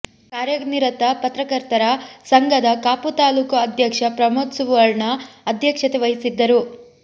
ಕಾರ್ಯ ನಿರತ ಪತ್ರಕರ್ತರ ಸಂಘದ ಕಾಪು ತಾಲ್ಲೂಕು ಅಧ್ಯಕ್ಷ ಪ್ರಮೋದ್ ಸುವರ್ಣ ಅಧ್ಯಕ್ಷತೆ ವಹಿಸಿದ್ದರು